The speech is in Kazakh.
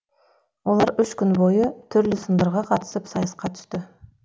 олар үш күн бойы түрлі сындарға қатысып сайысқа түсті